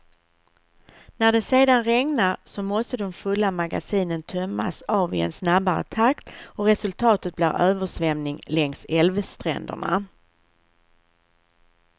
När det sedan regnar, så måste de fulla magasinen tömmas av i en snabbare takt och resultatet blir översvämning längs älvstränderna.